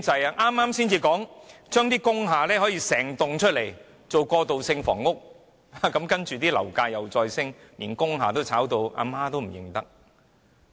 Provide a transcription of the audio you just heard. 政府剛說要將整幢工廈轉型為過渡性房屋，樓價便再度攀升，連工廈的售價也在飆升。